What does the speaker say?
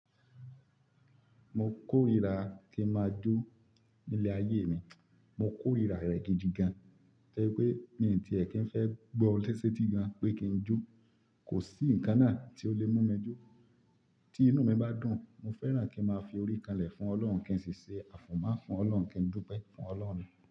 Mo kórìíra kí n máa jó nílé ayé mi. Mo kórìíra rẹ̀ gidi gan-an, tori pé mí tí ẹ̀ kí n fẹ́ gbọ́ setí gan pé kí n jó, kò sí ǹkan náà tí ó lè mú mi jó. Tí inú mi bá dùn, mo fẹ́ràn kí n máa fi orí kanlẹ̀ fún Ọlọ́run kí ẹ sì ṣe àfúnmá fún Ọlọ́run kí n dúpẹ́ fún Ọlọ́run.